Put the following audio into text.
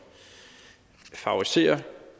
favoriserer